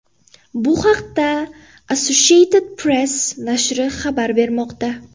Bu haqda Associated Press nashri xabar bermoqda.